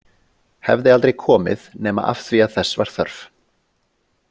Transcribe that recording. Hefði aldrei komið nema af því að þess var þörf.